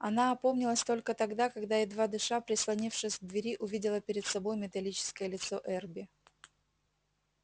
она опомнилась только тогда когда едва дыша прислонившись к двери увидела перед собой металлическое лицо эрби